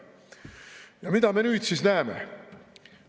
Ja mida me nüüd näeme?